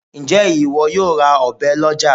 Ǹjẹ́ ìwọ yóò ra ọ̀bẹ lọ́já